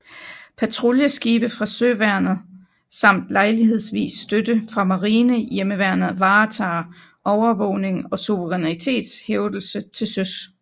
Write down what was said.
Patruljeskibe fra søværnet samt lejlighedsvis støtte fra Marinehjemmeværnet varetager overvågning og suverænitetshævdelse til søs